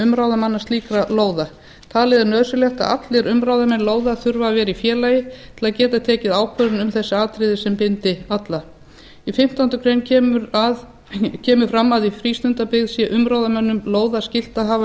umráðamanna slíkra lóða talið er nauðsynlegt að allir umráðamenn lóða þurfi að vera í félagi til að geta tekið ákvæði um þessi atriði sem undir falla í fimmtándu grein kemur fram að í frístundabyggð sé umráðamönnum lóða skylt að hafa